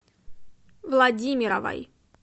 владимировой